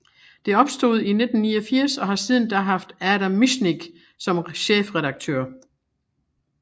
Det opstod i 1989 og har siden da haft Adam Michnik som chefredaktør